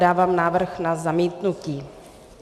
Dávám návrh na zamítnutí.